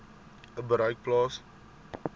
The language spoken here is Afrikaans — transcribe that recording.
u bereik plaas